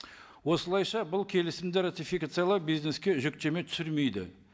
осылайша бұл келісімді ратификациялау бизнеске жүктеме түсірмейді